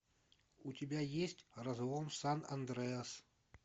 у тебя есть разлом сан андреас